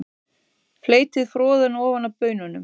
Fleytið froðuna ofan af baununum.